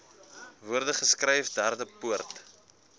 woorde geskryf derdepoort